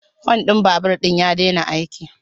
Hun din babur din ya daina aiki